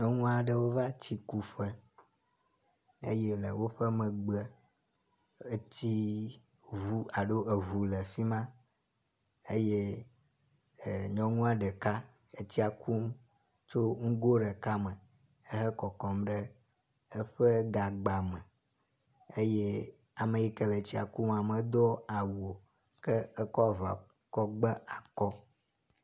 Nyɔnu aɖewo va tsikuƒe eye le woƒe megbe etsi ŋu alo eŋu le fi ma eye nyɔnu aɖeka etsia kum tso nugo ɖeka me ehe kɔkɔm ɖe eƒe gagba me eye ame yi ke le etsia kuma medo awu o ke ekɔ avɔ kɔ gbe akɔ.